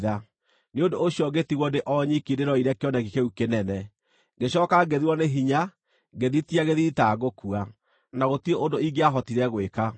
Nĩ ũndũ ũcio ngĩtigwo ndĩ o nyiki ndĩĩroreire kĩoneki kĩu kĩnene. Ngĩcooka ngĩthirwo nĩ hinya, ngĩthitia gĩthiithi ta ngũkua, na gũtirĩ ũndũ ingĩahotire gwĩka.